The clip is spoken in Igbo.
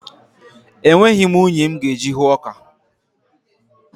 Enweghị m unyi m ga-eji hụọ ọka.